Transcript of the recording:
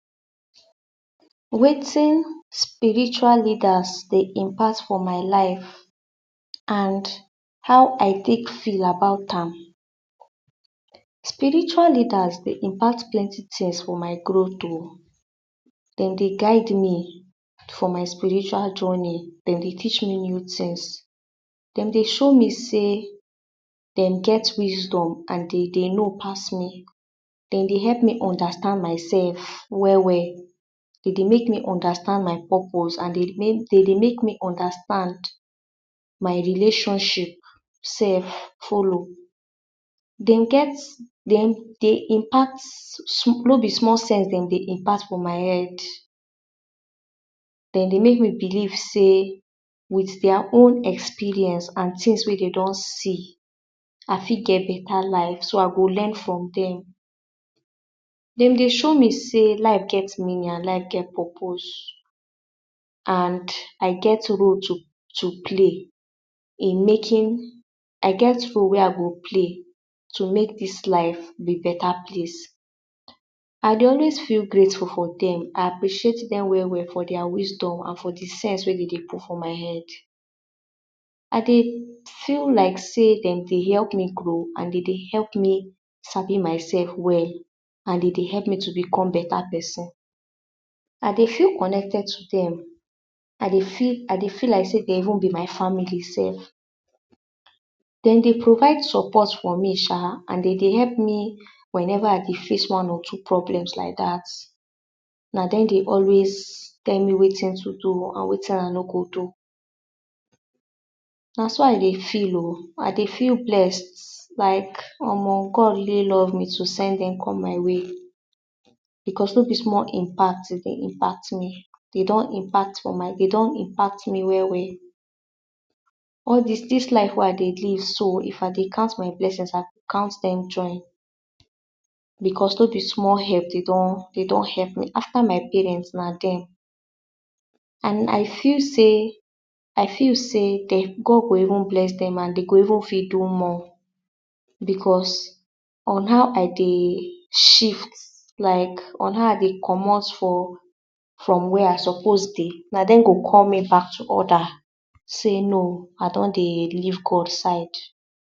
Wetin spiritual leaders dey impact for my life and how I tek feel about am. Spiritual leaders dey impact plenty tings for my growth o dem dey guide me for my spiritual journey dem dey teach me new tings dem dey show me sey dem get wisdom and dem dey know pass me. Dem dey help me understand myself well well. dem dey make me understand my purpose and dem dey dey make me understand my relationship sef follow dem get. dem get dem dey impact no be small sense dem dey impact for my head. dem dey make me believe sey with dia own experience and tings wey dey don see, I fih geh beta life so I go learn from dem. dem dey show me sey life get meaning and life geh purpose and I get role to to play in making. I get role wey I go play to make dis life be beta place I dey always feel grateful for dem I appreciate dem well well for dia wisdom and for de sense we dey put for my head I dey feel like sey dem dey help me grow and dey dey help me sabi mysef well and dem dey help me to become beta pesin. I dey feel connected to dem, I dey feel i dey feel like sey dem even be my family sef. dem dey provide support for me sha and dem dey help me wheneva I dey face one or two problems like dat and na dem dey always tell me wetin to do and wetin I no go do na so I dey feel oh I dey feel blessed like. Omo God really love me to send dem come my way because no be small impact dem dey impact me dey don impact for my dey don impact me well well all dis dis life wey I dey live so if I dey count my blessing, I go count dem join because no be small help dey don help me. After my parent, na dem and and I feel sey I feel sey dey go God go even bless dem and dey go even fit do more because on how I dey shift like on how I dey comot for from where I suppose dey, dem go call me back to order sey no I don dey leave God side.